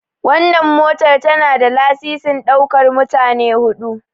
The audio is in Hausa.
Wannan motar tana da lasisin ɗaukar mutane 4.